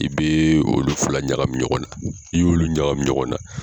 I bɛ olu fila ɲagami ɲɔgɔn na n'i y'olu ɲagami ɲɔgɔn na